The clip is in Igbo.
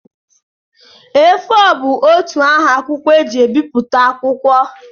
A4 bụ otú nha akwụkwọ e ji ebipụta akwụkwọ.